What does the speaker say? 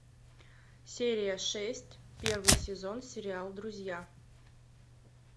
серия шесть первый сезон сериал друзья